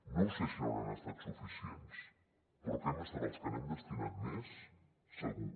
no ho sé si hauran estat suficients però que hem estat els que n’hem destinat més segur